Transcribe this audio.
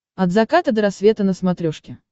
от заката до рассвета на смотрешке